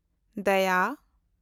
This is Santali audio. ᱫᱟᱭᱟ